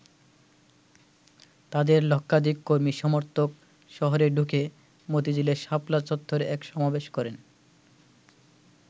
তাদের লক্ষাধিক কর্মী-সমর্থক শহরে ঢুকে মতিঝিলের শাপলা চত্বরে এক সমাবেশ করেন।